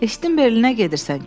Eşitdim Berlinə gedirsən.